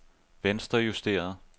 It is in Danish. venstrejusteret